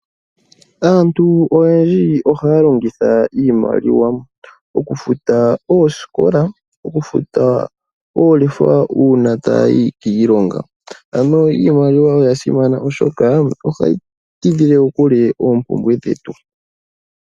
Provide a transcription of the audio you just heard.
Aantu oyendji ohaya longitha iimaliwa, oku futa oosikola, oku futa oolefa uuna ta yayi kiilonga. Ano iimaliwa oya simana oshoka ohayi ti dhile ko kule oompumbwe dhetu.